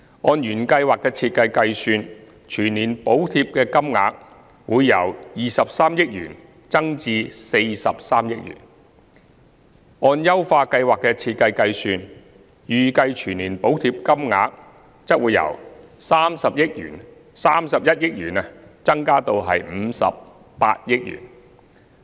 按原計劃的設計計算，全年補貼金額會由23億元增至43億元；按優化計劃的設計計算，預計全年補貼金額則會由31億元增加至58億元。